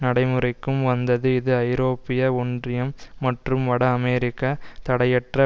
நடைமுறைக்கும் வந்தது இது ஐரோப்பிய ஒன்றியம் மற்றும் வட அமெரிக்க தடையற்ற